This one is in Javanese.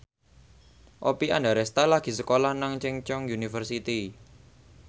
Oppie Andaresta lagi sekolah nang Chungceong University